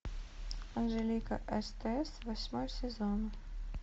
анжелика стс восьмой сезон